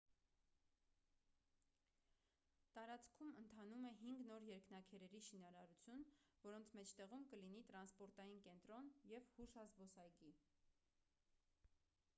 տարածքում ընթանում է հինգ նոր երկնաքերերի շինարարություն որոնց մեջտեղում կլինի տրանսպորտային կենտրոն և հուշազբոսայգի